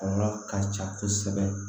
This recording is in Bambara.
Kɔlɔlɔ ka ca kosɛbɛ